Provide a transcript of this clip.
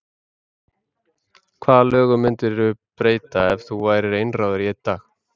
Hvaða lögum myndirðu breyta ef þú værir einráður í einn dag?